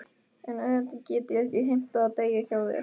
En auðvitað get ég ekki heimtað að deyja hjá þér.